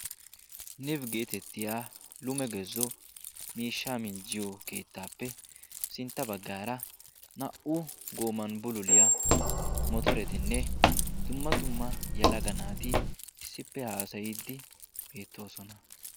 Nib geettetiya lume gezo miishshaa minjjiyo keettappe sintta baggaara naa'u gooman bululiyaa motoretikka dumma dumma yelaga naati issippe haasayidi beettoosona.